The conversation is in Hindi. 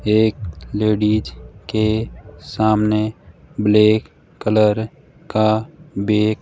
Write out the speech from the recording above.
एक लेडिज के सामने ब्लैक कलर का बैग --